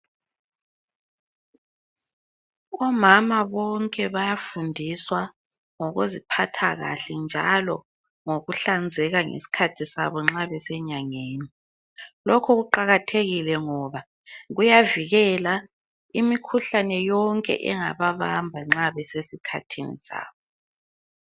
Omama bonke bayafundiswa ngokuziphatha kahle njalongokuhlanzeka kwabo nxa besenyangeni. Lokhu kuqakathekile ngoba kuyavikela imikhuhlane yonke engababamba nxa besesikhathini sabo.